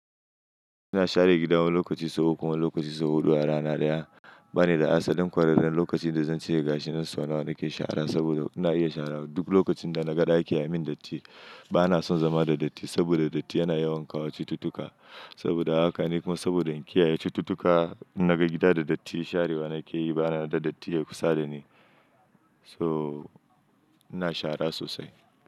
Ina share gida wani lokaci sau uku wani lokaci sau huɗu a rana ɗaya. Bani da asalin kwararren lokaci da zan ce gashi nan sau nawa nake shara, saboda ina iya shara duk lokacin da na ga ɗakin ya min datti. Bana son zama da datti, saboda datti yana yawan kawo cututtuka. Saboda haka ne kuma saboda in kiyaye cututtuka, in na ga gida da datti sharewa nake yi bana yadda datti yayi kusa da ni. So ina shara sosai.